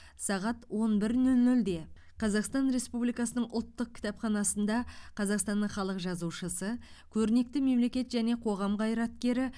сағат он бір нөл нөлде қазақстан республикасының ұлттық кітапханасында қазақстанның халық жазушысы көрнекті мемлекет және қоғам қайраткері